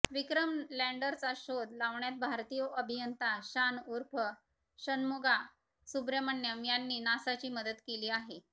विक्रम लँडरचा शोध लावण्यात भारतीय अभियंता शान उर्फ षण्मुगा सुब्रमण्यम यांनी नासाची मदत केली आहे